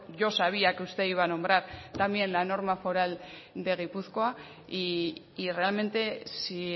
yo sabía que usted iba a nombrar también la norma foral de gipuzkoa y realmente si